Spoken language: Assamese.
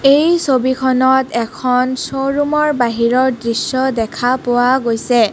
এই ছবিখনত এখন চ' ৰুম ৰ বাহিৰৰ দৃশ্য দেখা পোৱা গৈছে.